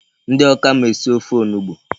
Ndị Awka ma esi ofe onugbu.